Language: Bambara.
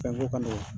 Fɛnko ka nɔgɔn